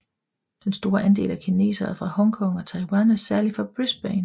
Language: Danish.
Den store andel af kinesere fra Hong Kong og Taiwan er særlig for Brisbane